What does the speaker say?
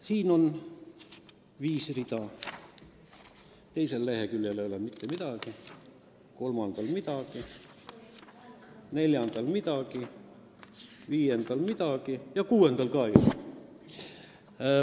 Siin leheküljel on viis rida, teisel leheküljel ei ole mitte midagi, kolmandal ei ole mitte midagi, neljandal ei ole midagi, viiendal ja kuuendal ka ei ole.